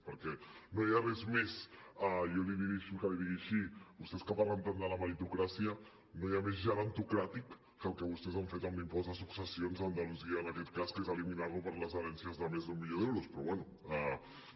perquè no hi ha res més deixi’m que li ho digui així vostès que parlen tant de la meritocràcia no hi ha més gerontocràtic que el que vostès han fet amb l’impost de successions a andalusia en aquest cas que és eliminar lo per les herències de més d’un milió d’euros però bé